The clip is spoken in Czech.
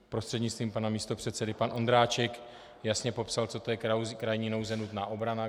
Prostřednictvím pana místopředsedy, pan Ondráček jasně popsal, co to je krajní nouze, nutná obrana.